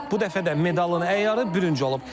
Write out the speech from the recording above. Bu dəfə də medalın əyarı bürünc olub.